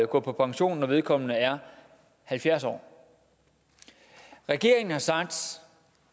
gå på pension når vedkommende er halvfjerds år regeringen har sagt